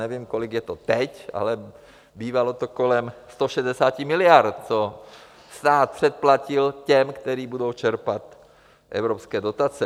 Nevím, kolik je to teď, ale bývalo to kolem 160 miliard, co stát předplatil těm, kteří budou čerpat evropské dotace.